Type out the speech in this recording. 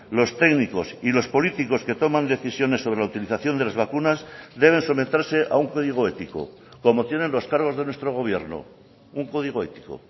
los técnicos y los políticos que toman decisiones sobre la utilización de las vacunas deben someterse a un código ético como tienen los cargos de nuestro gobierno un código ético